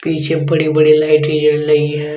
पीछे बड़ी बड़ी लाइटे जल रही है।